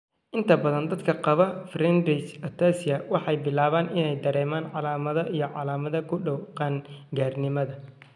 Inta badan dadka qaba Friedreich's ataxia waxay bilaabaan inay dareemaan calaamadaha iyo calaamadaha ku dhow qaan-gaarnimada.